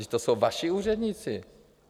Vždyť to jsou vaši úředníci.